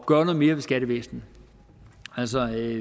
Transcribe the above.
gøre noget mere ved skattevæsenet altså